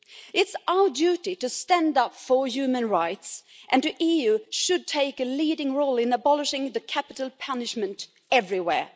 It's our duty to stand up for human rights and the EU should take a leading role in abolishing capital punishment everywhere.